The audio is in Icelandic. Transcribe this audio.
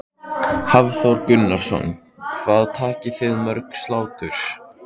Hafþór Gunnarsson: Hvað takið þið mörg slátur?